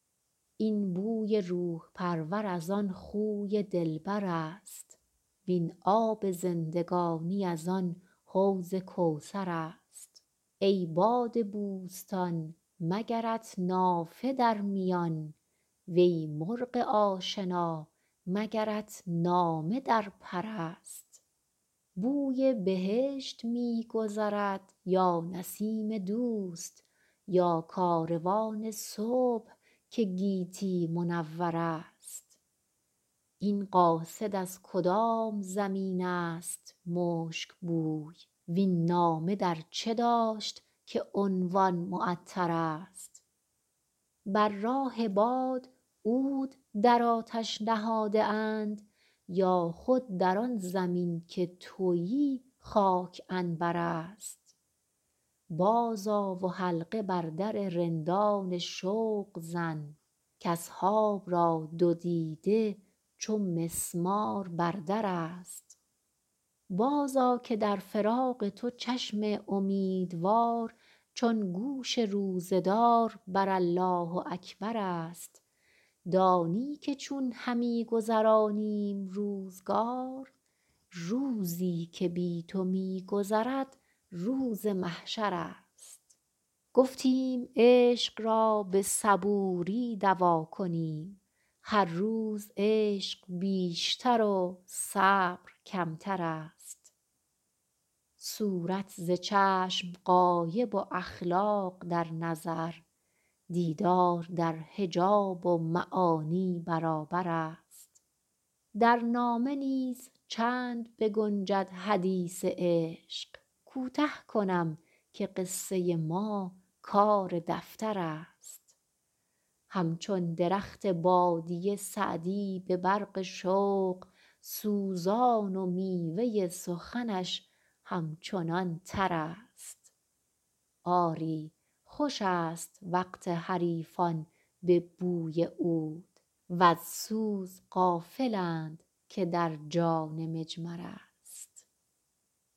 این بوی روح پرور از آن خوی دلبر است وین آب زندگانی از آن حوض کوثر است ای باد بوستان مگرت نافه در میان وی مرغ آشنا مگرت نامه در پر است بوی بهشت می گذرد یا نسیم دوست یا کاروان صبح که گیتی منور است این قاصد از کدام زمین است مشک بوی وین نامه در چه داشت که عنوان معطرست بر راه باد عود در آتش نهاده اند یا خود در آن زمین که تویی خاک عنبر است بازآ و حلقه بر در رندان شوق زن کاصحاب را دو دیده چو مسمار بر در است بازآ که در فراق تو چشم امیدوار چون گوش روزه دار بر الله اکبر است دانی که چون همی گذرانیم روزگار روزی که بی تو می گذرد روز محشر است گفتیم عشق را به صبوری دوا کنیم هر روز عشق بیشتر و صبر کمتر است صورت ز چشم غایب و اخلاق در نظر دیدار در حجاب و معانی برابر است در نامه نیز چند بگنجد حدیث عشق کوته کنم که قصه ما کار دفتر است همچون درخت بادیه سعدی به برق شوق سوزان و میوه سخنش همچنان تر است آری خوش است وقت حریفان به بوی عود وز سوز غافلند که در جان مجمر است